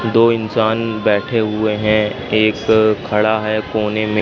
दो इंसान बैठे हुए हैं एक खड़ा है कोने में।